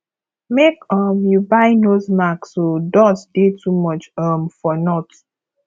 make um you buy nose mask o dust dey too much um for north